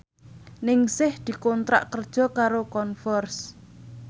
Ningsih dikontrak kerja karo Converse